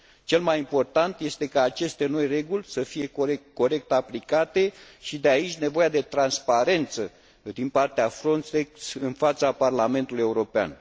Cel mai important este ca aceste noi reguli să fie corect aplicate și, de aici, nevoia de transparență din partea Frontex în fața Parlamentului European.